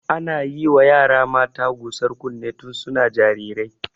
Ana yiwa yara mata gusar kunne tun suna jarirai.